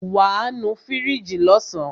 Wàá nu fíríjì lọ́sàn.